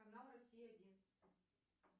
канал россия один